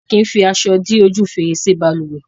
A kì fi aṣọ dí ojú fèrèsé balùwẹ́